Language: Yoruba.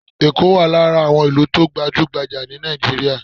Ekó wà lára àwọn ìlú tó gbajúgbajà ní Nàìjíríà.